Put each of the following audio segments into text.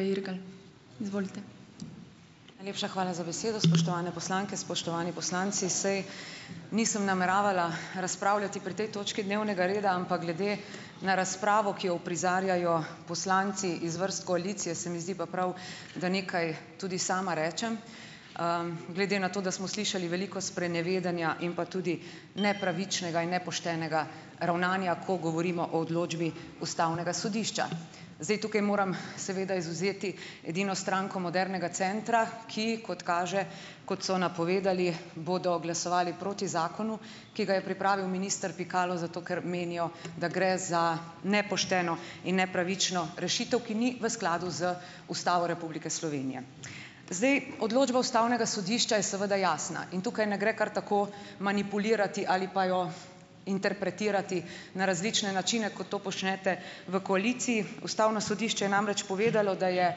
Najlepša hvala za besedo. Spoštovane poslanke, spoštovani poslanci! Saj nisem nameravala razpravljati pri tej točki dnevnega reda, ampak glede na razpravo, ki jo uprizarjajo poslanci iz vrst koalicije, se mi zdi pa prav, da nekaj tudi sama rečem, glede na to, da smo slišali veliko sprenevedanja in pa tudi nepravičnega in nepoštenega ravnanja, ko govorimo o odločbi ustavnega sodišča. Zdaj, tukaj moram seveda izvzeti edino stranko Modernega centra, ki, kot kaže, kot so napovedali, bodo glasovali proti zakonu, ki ga je pripravil minister Pikalo zato, ker menijo, da gre za nepošteno in nepravično rešitev, ki ni v skladu z Ustavo Republike Slovenije. Zdaj odločba ustavnega sodišča je seveda jasna in tukaj ne gre kar tako manipulirati ali pa jo interpretirati na različne načine, kot to počnete v koaliciji. Ustavno sodišče je namreč povedalo, da je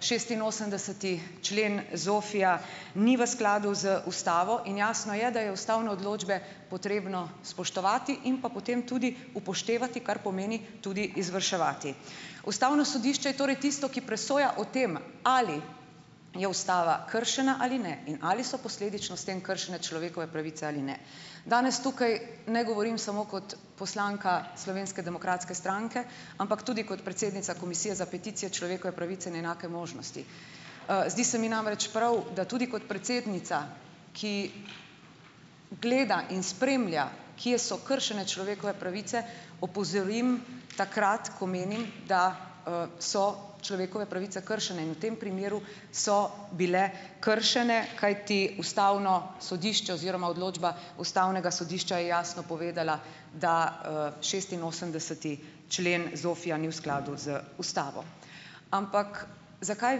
šestinosemdeseti člen ZOFVI-ja ni v skladu z ustavo, in jasno je, da je ustavne odločbe potrebno spoštovati in pa potem tudi upoštevati, kar pomeni tudi izvrševati. Ustavno sodišče je torej tisto, ki presoja o tem, ali je ustava kršena ali ne in ali so posledično s tem kršene človekove pravice ali ne. Danes tukaj ne govorim samo kot poslanka Slovenske demokratske stranke, ampak tudi kot predsednica Komisije za peticije, človekove pravice in enake možnosti. Zdi se mi namreč pravi, da tudi kot predsednica, ki gleda in spremlja kje so kršene človekove pravice, opozorim takrat, ko menim, da, so človekove pravice kršene in v tem primeru so bile kršene, kajti ustavno sodišče oziroma odločba ustavnega sodišča je jasno povedala, da, šestinosemdeseti člen ZOFVI-ja ni v skladu z ustavo. Ampak zakaj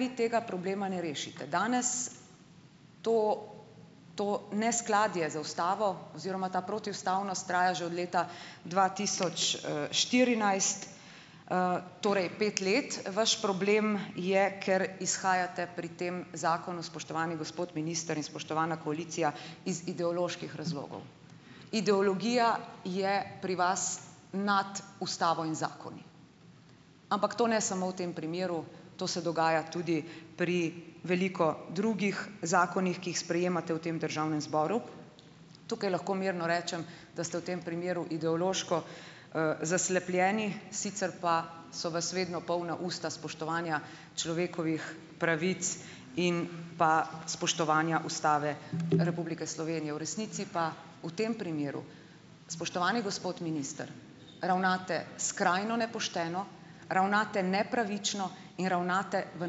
vi tega problema ne rešite danes? To to neskladje z ustavo oziroma ta protiustavnost traja že od leta dva tisoč, štirinajst, torej pet let. Vaš problem je, ker izhajate pri tem zakonu, spoštovani gospod minister in spoštovana koalicija, iz ideoloških razlogov. Ideologija je pri vas nad ustavo in zakoni, ampak to ne samo v tem primeru, to se dogaja tudi pri veliko drugih zakonih, ki jih sprejemate v tem državnem zboru. Tukaj lahko mirno rečem, da ste v tem primeru ideološko, zaslepljeni, sicer pa so vas vedno polna usta spoštovanja človekovih pravic in pa spoštovanja Ustave Republike Slovenije. V resnici pa v tem primeru, spoštovani gospod minister, ravnate skrajno nepošteno, ravnate nepravično in ravnate v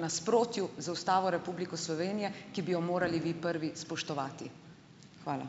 nasprotju z Ustavo Republiko Slovenije, ki bi jo morali vi prvi spoštovati. Hvala.